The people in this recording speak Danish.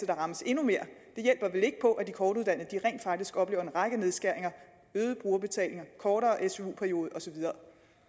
rammes endnu mere hjælper vel ikke på at de kortuddannede rent faktisk oplever en række nedskæringer øgede brugerbetalinger kortere su periode og så videre